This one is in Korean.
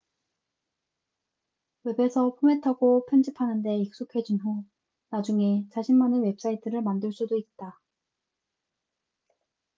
웹에서 포맷하고 편집하는 데 익숙해진 후 나중에 자신만의 웹사이트를 만들 수도 있다